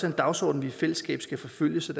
en dagsorden vi i fællesskab skal forfølge så